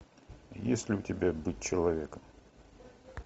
есть ли у тебя быть человеком